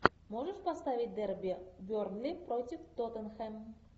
можешь поставить дерби бернли против тоттенхэм